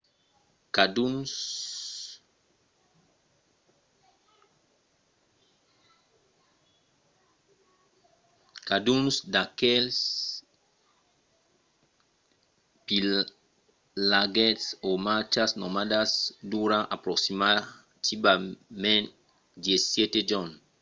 cadun d’aquestes pilhatges o marchas nomadas dura aproximativament 17 jorns